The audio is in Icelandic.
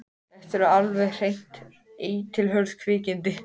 Þetta eru alveg hreint eitilhörð kvikindi.